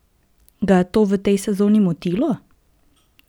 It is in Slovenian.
Ga je to v tej sezoni motilo?